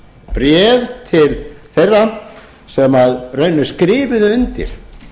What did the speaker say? bréf bréf til þeirra sem skrifuðu undir